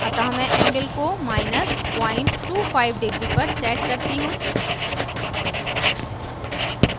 अतः मैं angle को025° पर set करती हूँ